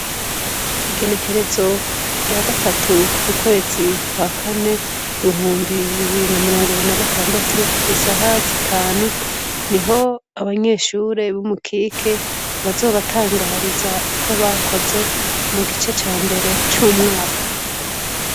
Igenekerezo rya gatatu ukwezi kwa kane bihumbi bibiri na mirongo ibiri na gatandatu isaha zitanu, niho abanyeshure b'i Mukike bazobatangariza uko bakoze mugice ca mbere c'umwaka.